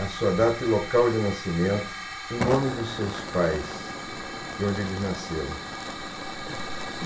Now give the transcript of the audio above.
A sua data e local de nascimento, o nome dos seus pais e onde eles nasceram. Tá